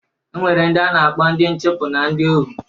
E nwere ndị a na-akpọ ndị nchụpụ na ndị ohu